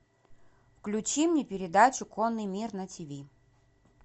включи мне передачу конный мир на тиви